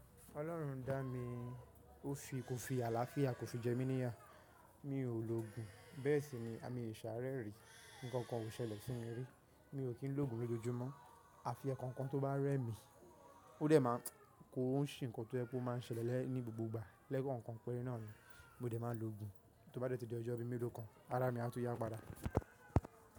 Ọlọ́run dá mi, kò fi àlàáfíà kò fì jẹ́ mi níyà. Mi ò lògun bẹ́ẹ̀ sì ni mi o ṣààrẹ́ rí. Ǹkankan o ṣẹlẹ̀ sí mi rí. Mi ò kín lògun lójoojúmọ́. Àfi ekọ̀ọ́kan tó bá rẹ́ mi, ó dẹ̀ máa ń kó sè ǹkan tó máa ń ṣẹlẹ̀ ní gbogbo igbà lẹ́kọ̀ọ́kan pẹ́rẹ́ náà ni. Mo dẹ̀ máa lògun. Tó bá dẹ́ ti di ọjọ́ bí mélòó kan, ara mi a tùn ya padà.